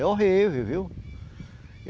É horrível, viu?